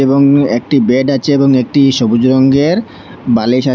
এবং উম একটি বেড আছে এবং একটি সবুজ রঙ্গের বালিশ আ --